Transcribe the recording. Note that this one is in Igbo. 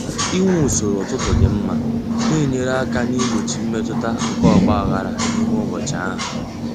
Inwe usoro ụtụtụ dị mma na-enyere aka igbochi mmetụta nke ọgba aghara n'ime ụbọchị ahụ.